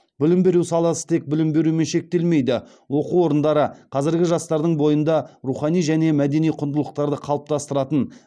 білім беру саласы тек білім берумен шектелмейді оқу орындары қазіргі жастардың бойында рухани және мәдени құндылықтарды қалыптастыратын